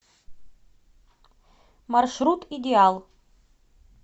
маршрут идеал